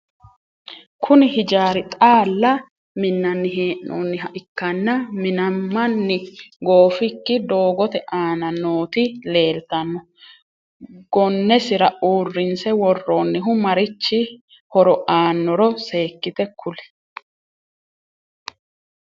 Kunni hijaari xaalla minnanni hee'noonniha ikkanna Minnamanni goofiki dogoote aanna nooti leeltano gonesira uurinse woroonnihu marichi horo aanoro seekite kuli?